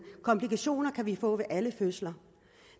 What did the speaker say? komplikationer kan vi få ved alle fødsler